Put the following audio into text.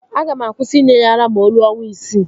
Aga m akwụsị inye ya ara ma o ruo ọnwa isii